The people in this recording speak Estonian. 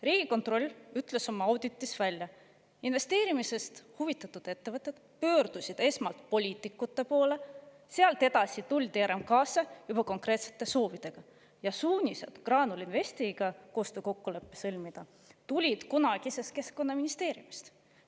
Riigikontroll ütles oma auditis välja: investeerimisest huvitatud ettevõtjad pöördusid esmalt poliitikute poole, sealt edasi mindi RMK‑sse juba konkreetsete soovidega ja suunised Graanul Investiga koostöökokkulepe sõlmida tulid kunagisest Keskkonnaministeeriumist.